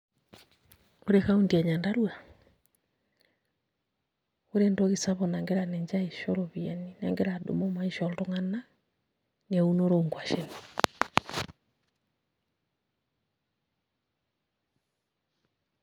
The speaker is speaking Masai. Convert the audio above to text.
Ore county e Nyandarua naa ore entoki sapuk nagira ninche aisho iropiyiani negira adumu maisha oltung'anak naa eunoto oonkuashen.